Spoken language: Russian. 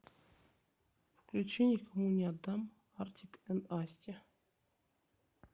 включи никому не отдам артик энд асти